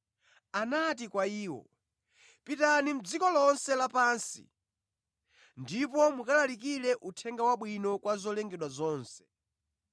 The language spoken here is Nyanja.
Anati kwa iwo, “Pitani mʼdziko lonse lapansi ndipo mukalalikire Uthenga Wabwino kwa zolengedwa zonse.